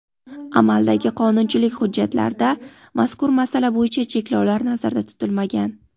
amaldagi qonunchilik hujjatlarida mazkur masala bo‘yicha cheklovlar nazarda tutilmagan.